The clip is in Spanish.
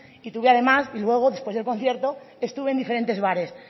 y tuve además y luego después del concierto estuve en diferentes bares